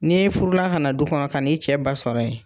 N'e furula ka na du kɔnɔ ka n'i cɛ ba sɔrɔ yen